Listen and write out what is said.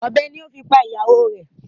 Ọ̀bẹ ni o fi pa ìyàwó rẹ̀.